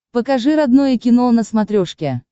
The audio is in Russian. покажи родное кино на смотрешке